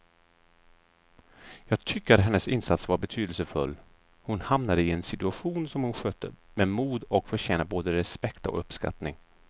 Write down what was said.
Jag tycker att hennes insats var betydelsefull, hon hamnade i en situation som hon skötte med mod och förtjänar både respekt och uppskattning.